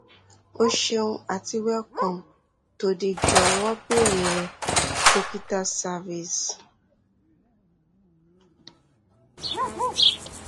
o ṣeun àti welcome to the jọ̀wọ́ bèèrè dókítá service